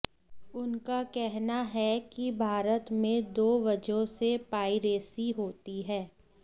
उनका कहना है कि भारत में दो वजहों से पाइरेसी होती है